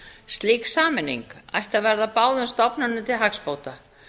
slík sameining ætti að verða báðum stofnunum til hagsbóta